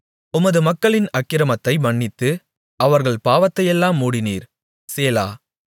உமது மக்களின் அக்கிரமத்தை மன்னித்து அவர்கள் பாவத்தையெல்லாம் மூடினீர் சேலா